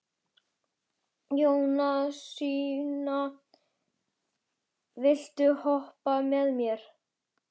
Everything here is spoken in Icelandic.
Jónasína, viltu hoppa með mér?